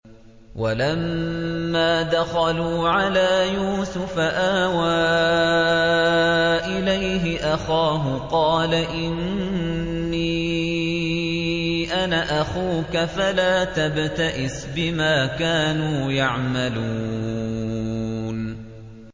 وَلَمَّا دَخَلُوا عَلَىٰ يُوسُفَ آوَىٰ إِلَيْهِ أَخَاهُ ۖ قَالَ إِنِّي أَنَا أَخُوكَ فَلَا تَبْتَئِسْ بِمَا كَانُوا يَعْمَلُونَ